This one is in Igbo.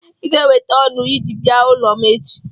I ga-eweta otu ji bịa ụlọ m echi.